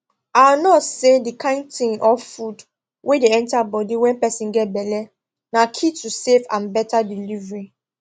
our nurse say the kind thing or food wey dey enter body wen person get belle na key to safe and better delivery